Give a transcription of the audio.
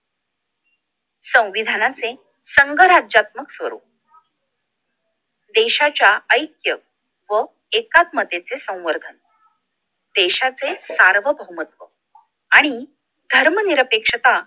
संविधानाचे संघ राज्यात्म्क स्वरूप देशाच्या ऐक्य व एकात्मतेचे संवर्धन देशाचे सार्वभौमत्व आणि धर्मनिरपेक्षता